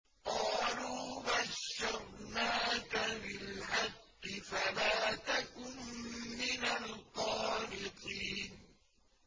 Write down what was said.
قَالُوا بَشَّرْنَاكَ بِالْحَقِّ فَلَا تَكُن مِّنَ الْقَانِطِينَ